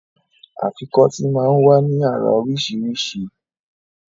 Afikọ́tì máa ń wá ní àrà oríṣiríṣi